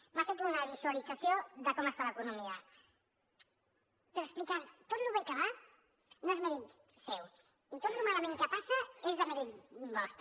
m’ha fet una visualització de com està l’economia però explicant tot lo bé que va no és mèrit seu i tot lo malament que passa és demèrit vostre